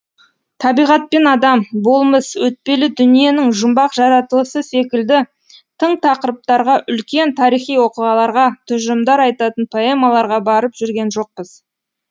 табиғат пен адам болмыс өтпелі дүниенің жұмбақ жаратылысы секілді тың тақырыптарға үлкен тарихи оқиғаларға тұжырымдар айтатын поэмаларға барып жүрген жоқпыз